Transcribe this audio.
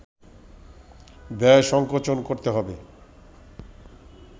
ব্যয় সংকোচন করতে হবে